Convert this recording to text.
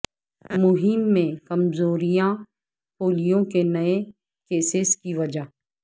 مہم میں کمزوریاں پولیو کے نئے کیسز کی وجہ